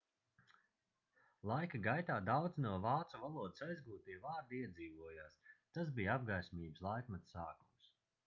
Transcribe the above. laika gaitā daudzi no vācu valodas aizgūtie vārdi iedzīvojās tas bija apgaismības laikmeta sākums